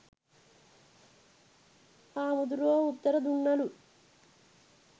හාමුදුරුවෝ උත්තර දුන්නලු